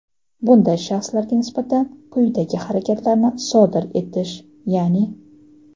bunday shaxslarga nisbatan quyidagi harakatlarni sodir etish, yaʼni: .